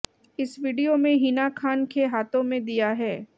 इस वीडियो में हिना खान के हाथों में दीया है